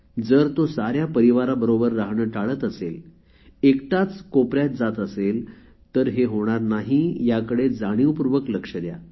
जर तो साऱ्या परिवाराबरोबर राहणे टाळत असेल एकटाच कोपऱ्यात जात असेल तर हे होणार नाही याकडे जाणीवपूर्वक लक्ष द्या